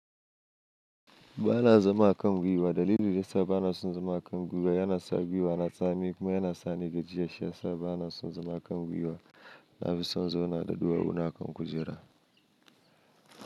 Ba na zama a kan gwiwa. Dalilin da yasa ba na son zama a kan gwiwa yana sa gwiwa na tsami kuma yana sa ni gajiya. Shiyasa ba na son zama a kan gwiwa na fi son in zauna da duwawu na kan kujera.